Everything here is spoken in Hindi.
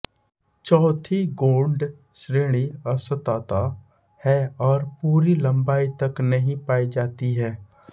चौथी गौड़ श्रेणी असतत है और पूरी लम्बाई तक नहीं पायी जाती है